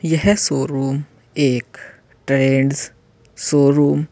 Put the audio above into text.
यह शोरूम एक Trends showroom --